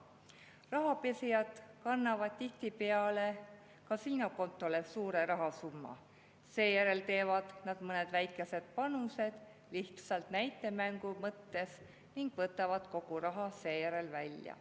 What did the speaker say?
Rahapesijad kannavad tihtipeale kasiinokontole suure rahasumma, seejärel teevad mõned väikesed panused lihtsalt näitemängu mõttes ning võtavad seejärel kogu raha välja.